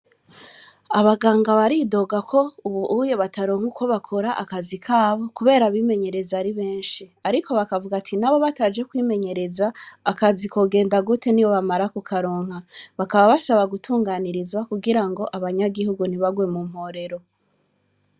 Abaganga baridogako ubuhuye bataronka ukwo bakora akazi kabo kubera abimenyereza aribenshi, ariko bakavugati nabo bataje kwimenyereza akazi kogenda gute nibamara kukaronka, bakaba basaba gutunganirizwa kugirango abanyagihugu ntibagwe mu mporero.